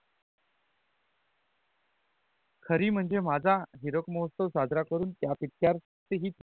खरी मणजे माझा हीरक महोत्सव साजरा करून त्या पिचयरत ही